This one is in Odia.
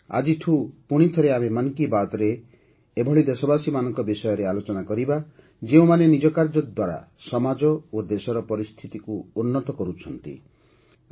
ଆଜିଠୁ ପୁଣି ଥରେ ଆମେ 'ମନ୍ କି ବାତ୍'ରେ ଏଭଳି ଦେଶବାସୀମାନଙ୍କ ବିଷୟରେ ଆଲୋଚନା କରିବା ଯେଉଁମାନେ ନିଜ କାର୍ଯ୍ୟ ଦ୍ୱାରା ସମାଜ ଓ ଦେଶର ପରିସ୍ଥିତିକୁ ଉନ୍ନତ କରୁଛନ୍ତି